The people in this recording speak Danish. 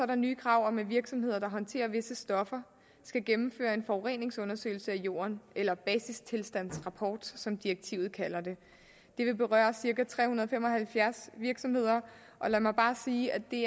der nye krav om at virksomheder der håndterer visse stoffer skal gennemføre en forureningsundersøgelse af jorden eller basistilstandsrapport som direktivet kalder det det vil berøre cirka tre hundrede og fem og halvfjerds virksomheder og lad mig bare sige at det